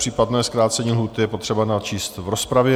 Případné zkrácení lhůty je potřeba načíst v rozpravě.